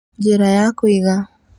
Njĩra ya kũiga